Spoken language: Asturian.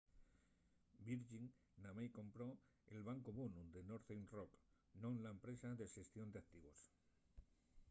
virgin namái compró'l bancu bonu” de northern rock non la empresa de xestión d'activos